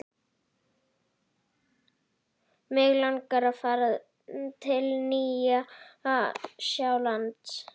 Mig langar að fara til Nýja-Sjálands.